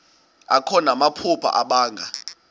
akho namaphupha abanga